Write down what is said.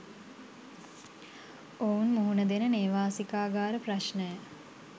ඔවුන් මුහුණ දෙන නේවාසිකාගාර ප්‍රශ්නය